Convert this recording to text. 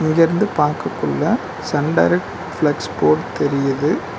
இங்க இருந்து பாக்ககுள்ள சன் டைரக்ட் ஃபிளக்ஸ் போர்ட் தெரியிது.